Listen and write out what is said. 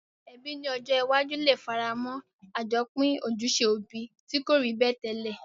Ebí ni ojó iwájú le faramó àjopín ojúse òbi ti ko rí bẹ́ẹ̀ tẹ́lẹ̀